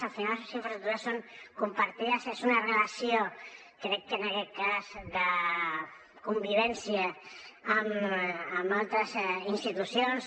al final les nostres infraestructures són compartides és una relació crec que en aquest cas de convivència amb altres institucions